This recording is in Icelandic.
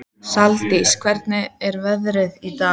Saldís, hvernig er veðrið í dag?